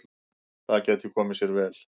Það gæti komið sér vel.